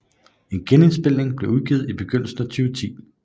En genindspilning blev udgivet i begyndelsen af 2010